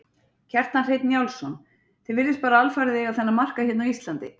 Kjartan Hreinn Njálsson: Þið virðist bara alfarið eiga þennan markað hérna á Íslandi?